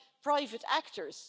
by private actors.